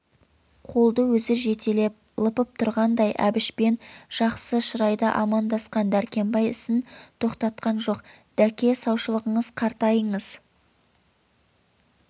қолды өзі жетелеп лыпып тұрғандай әбішпен жақсы шырайда амандасқан дәркембай ісін тоқтатқан жоқ дәке саушылығыңыз қайратыңыз